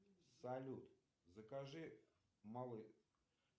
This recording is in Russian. салют закажи малый